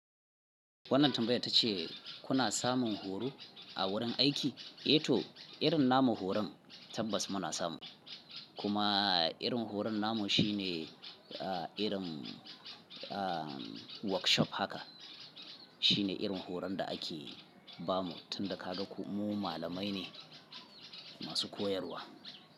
Wannan tambayar ta ce kuna samun horo a wurin aiki? Eh to, irin namu horon tabbas muna samu. Kuma irin horon namu shine irin workshop haka. Shine irin horon da ake bamu tunda ka ga ku mu malamai ne masu koyarwa.